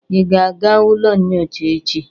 Ị ga-aga ụlọ nyocha echi?